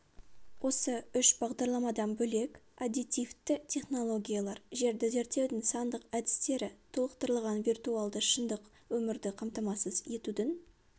осы үш бағдарламадан бөлек аддитивті технологиялар жерді зерттеудің сандық әдістері толықтырылған виртуалды шындық өмірді қамтамасыз етудің